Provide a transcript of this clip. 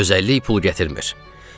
Gözəllik pul gətirmir.